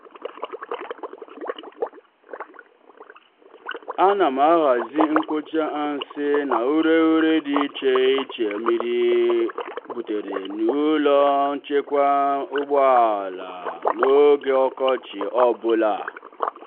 anam ahazi mkpocha nsị na ureghure dị iche iche mmiri butere n'ulo nchekwa ụgbọ ala n'oge ọkọchị ọbụla.